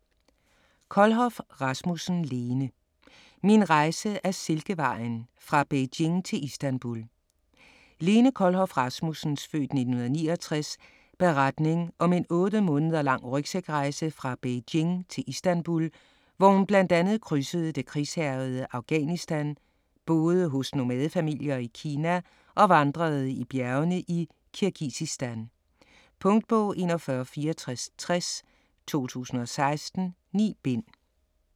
Kohlhoff Rasmussen, Lene: Min rejse ad Silkevejen: fra Beijing til Istanbul Lene Kohlhoff Rasmussens (f. 1969) beretning om en otte måneder lang rygsækrejse fra Beijing til Istanbul, hvor hun bl.a. krydsede det krigshærgede Afghanistan, boede hos nomadefamilier i Kina og vandrede i bjergene i Kirgisistan. Punktbog 416460 2016. 9 bind.